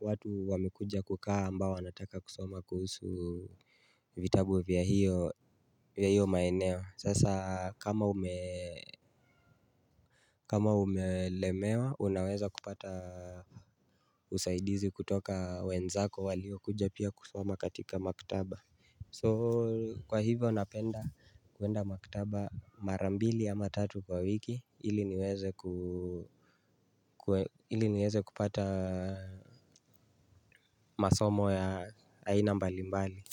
watu wamekuja kukaa ambao wanataka kusoma kuhusu vitabu vya hiyo maeneo. Sasa kama umelemewa unaweza kupata usaidizi kutoka wenzako walio kuja pia kusoma katika maktaba So kwa hivyo unapenda kuenda makitaba mara mbili ama tatu kwa wiki ili niweze kupata masomo ya aina mbali mbali.